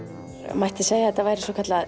mætti segja að þetta væri svokallað